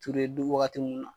du wagati minnu na